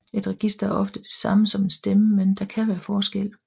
Et register er ofte det samme som en stemme men der kan være forskel